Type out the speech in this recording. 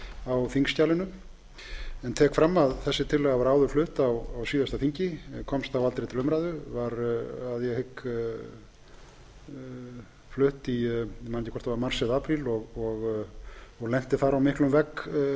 á þingskjalinu en tek fram að þessi tillaga var áður flutt á síðasta þingi en komst þá aldrei til umræðu var að ég hygg flutt ég man ekki hvort það var mars eða apríl og lenti þar á miklum vegg